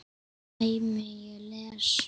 dæmi: Ég les.